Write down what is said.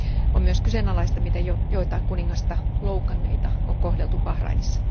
On myös kyseenalaista, miten joitakin kuningasta loukanneita on kohdeltu Bahrainissa.